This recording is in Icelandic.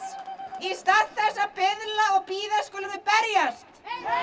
í stað þess að biðla og bíða skulum við berjast